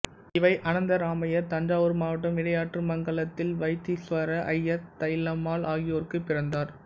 இ வை அனந்தராமையர் தஞ்சாவூர் மாவட்டம் இடையாற்றுமங்கலத்தில் வைத்தீசுவர ஐயர் தைலம்மாள் ஆகியோருக்குப் பிறந்தார்